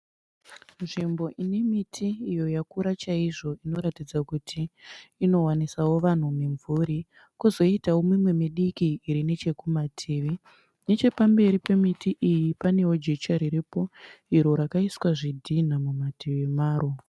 Nzvimbo ine miti iyo yakura chaizvo inoratidza kuti inowanisawo vanhu mimvuri, kozoitawo mimwe midiki iri neche kumativi. Neche pamberi pemiti iyi panewo jecha riripo iro rakaiswa zvidhinha mumativi maro.